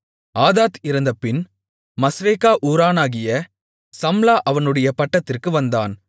ஆதாத் இறந்தபின் மஸ்ரேக்கா ஊரானாகிய சம்லா அவனுடைய பட்டத்திற்கு வந்தான்